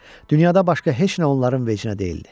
Dünyada başqa heç nə onların vecinə deyildi.